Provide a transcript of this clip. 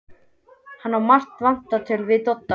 Hann á margt vantalað við Dodda.